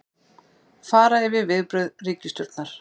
Fara yfir viðbrögð ríkisstjórnar